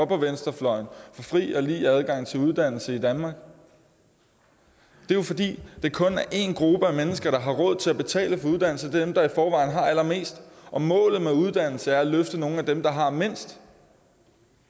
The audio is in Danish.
på venstrefløjen for fri og lige adgang til uddannelse i danmark det er jo fordi det kun er en gruppe af mennesker der har råd til at betale for uddannelse dem der i forvejen har allermest målet med uddannelse er at løfte nogle af dem der har mindst